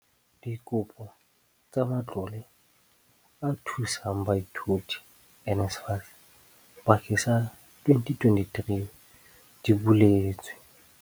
Dikopo tsa Matlole a Thusang Baithuti, NSFAS, bakeng sa 2023 di buletswe.